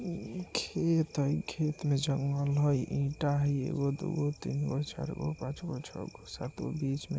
इ खेत हेय खेत में जंगल हेय ईटा हेय एगो दुगो तीन गो चार गो पाँच गो छ गो सात गो बीच मे --